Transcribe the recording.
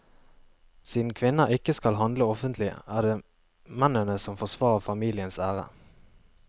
Siden kvinner ikke skal handle offentlig er det mennene som forsvarer familiens ære.